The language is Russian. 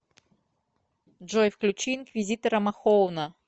джой включи инквизитора махоуна